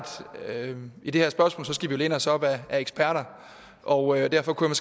vi i det her spørgsmål skal læne os op ad eksperter og derfor kunne